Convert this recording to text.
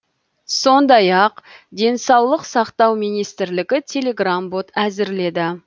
сондай ақ денсаулық сақтау министрлігі телеграм бот әзірледі